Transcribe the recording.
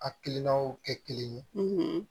A kilinaw kɛ kelen ye